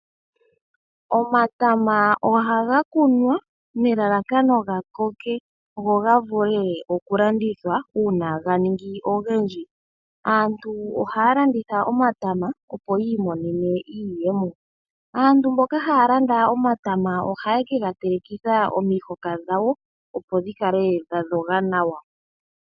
Omatama ohaga kunwa nelalakano gakoke go gavule okulandithwa uuna ga ningi ogendji . Aantu ohaya landitha omatama opo yiimonene iiyemo. Aantu mboka haya landa omatama oha lye ke gatelekitha omihoka dhawo opo dhi kale dhadhoga nawa.